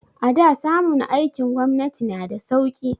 A da samun aikin gwamnati na da sauki